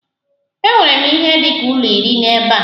Enwere m ihe dị ka ụlọ iri ebe a.